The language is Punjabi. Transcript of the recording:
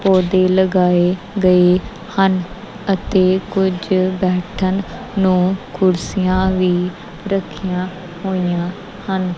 ਪੌਧੇ ਲਗਾਏ ਗਏ ਹਨ ਅਤੇ ਕੁਝ ਬੈਠਣ ਨੂੰ ਕੁਰਸੀਆਂ ਵੀ ਰੱਖੀਆਂ ਹੋਈਆਂ ਹਨ।